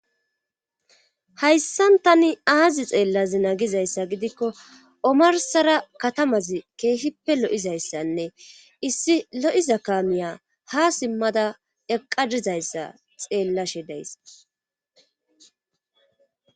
hayssan tani aazi xeellazina gizayssa gidikko omarsara katamazi keehippe lo7izayssanne issi lo7iza kaamiya ha simmada eqaa dizayssa xeellashe days